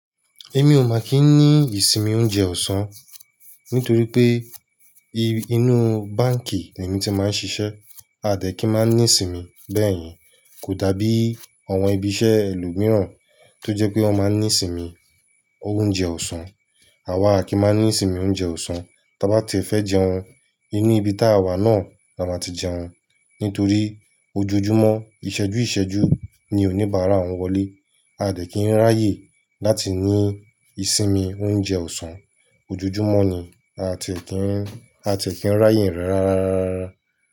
Èmi ò ma kí ni ìsinmi oúnjẹ ọ̀sán nítorí pé inú báǹkì l'èmi ti máa ń ṣiṣẹ́. A dẹ̀ ki máa ní sinmi bẹ́ẹ̀yen, kò dá bí àwọn ibi iṣẹ́ ẹlòmíràn tó jẹ́ pé wọ́n máa ń ní sinmi oúnjẹ ọ̀sán. Àwa a kì í máa ní sinmi oúnjẹ ọ̀sán, ta bá ti e fẹ́ jẹun inú ibi ta wà náà la máa ti jẹun. Nítorí ojoojúmọ́, ìṣẹ́jú ìṣẹ́jú ni oníbàárà wọn wọlé. A dẹ̀ kín ń ráyè láti ní ìsinmi oúnjẹ ọ̀sán. Ojoojúmọ́ ni a ti è kí ń, a ti è kí ń ráyè rẹ̀ rárárárá.